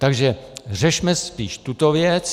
Takže řešme spíš tuto věc.